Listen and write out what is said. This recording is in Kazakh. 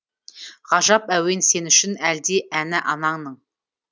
ғажап әуен сен үшін әлди әні ананың